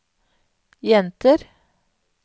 jenter